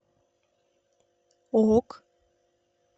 ок